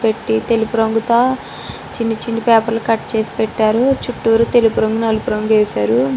పెట్టి తెలుపు రంగుతో చిన్ని చిన్ని పేపర్ లు కట్ చేసి పెట్టారు చుట్టూ తెలుపు రంగు నలుపు రంగు వేసారు.